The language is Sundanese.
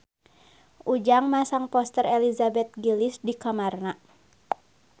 Ujang masang poster Elizabeth Gillies di kamarna